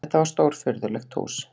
Þetta var stórfurðulegt hús.